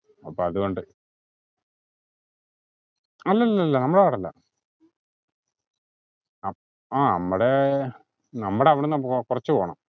അപ്പതോണ്ട്. അല്ലലല്ല നമ്മടെ ward ല്ല അപ്പ് ആഹ് നമ്മടെ നമ്മടെവ്ട്ന്ന്‌ കൊറച് പോണം